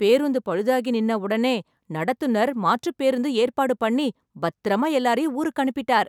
பேருந்து பழுதாகி நின்ன உடனே நடத்துநர் மாற்றுப் பேருந்து ஏற்பாடு பண்ணி பத்திரமா எல்லாத்தையும் ஊருக்கு அனுப்பிட்டார்.